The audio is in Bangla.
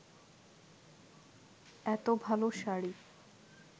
এত ভালো শাড়ি